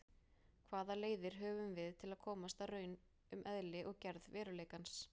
Hvaða leiðir höfum við til að komast að raun um eðli og gerð veruleikans?